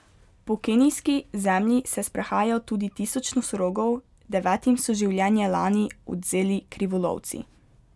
Po kenijski zemlji se sprehaja tudi tisoč nosorogov, devetim so življenje lani odvzeli krivolovci.